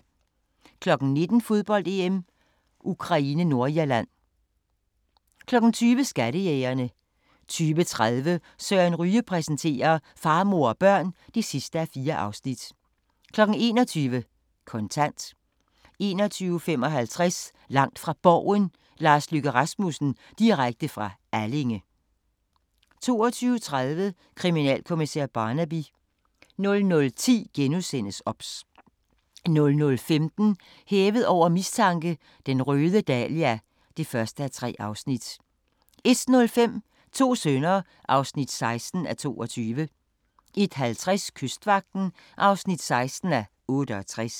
19:00: Fodbold: EM - Ukraine-Nordirland 20:00: Skattejægerne 20:30: Søren Ryge præsenterer: Far, mor og børn (4:4) 21:00: Kontant 21:55: Langt fra Borgen: Lars Løkke Rasmussen - direkte fra Allinge 22:30: Kriminalkommissær Barnaby 00:10: OBS * 00:15: Hævet over mistanke: Den røde dahlia (1:3) 01:05: To sønner (16:22) 01:50: Kystvagten (16:68)